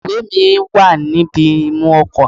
Ìwé è mi wà níbi imú ọkò